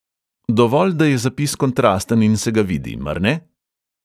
Dovolj, da je zapis kontrasten in se ga vidi, mar ne?